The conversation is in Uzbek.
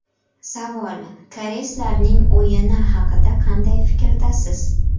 Savol: Koreyslarning o‘yini haqida qanday fikrdasiz?